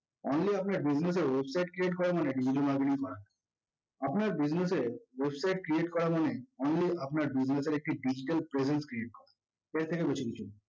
only আপনি এক business এর website create করা মানে digital marketing করা না। আপনার business এর website create করা মানে only আপনার business এর একটি digital presence create করা। এর থেকে বেশি কিছু না